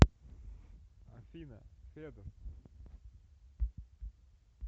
афина федос